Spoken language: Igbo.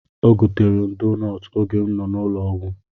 O goteerem doonọtụ oge m nọ n'ụlọ ọgwụ.